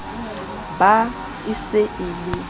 ba e se e le